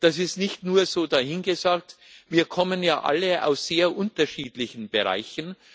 Das ist nicht nur so dahingesagt, wir kommen ja alle aus sehr unterschiedlichen Bereichen.